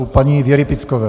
U paní Věry Pickové.